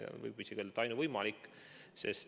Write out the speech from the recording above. Võib isegi öelda, et see oli ainuvõimalik.